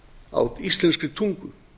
á íslenskri tungu